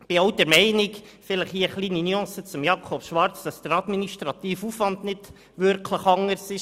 Ich bin auch der Ansicht – hier vielleicht eine kleine Nuance zu Jakob Schwarz –, dass der administrative Aufwand nicht wirklich anders ist.